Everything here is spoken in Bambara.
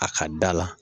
A ka da la